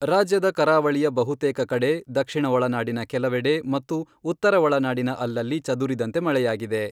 ರಾಜ್ಯದ ಕರಾವಳಿಯ ಬಹುತೇಕ ಕಡೆ, ದಕ್ಷಿಣ ಒಳನಾಡಿನ ಕೆಲವೆಡೆ ಮತ್ತು ಉತ್ತರ ಒಳನಾಡಿನ ಅಲ್ಲಲ್ಲಿ ಚದುರಿದಂತೆ ಮಳೆಯಾಗಿದೆ.